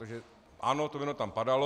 Takže ano, to jméno tam padalo.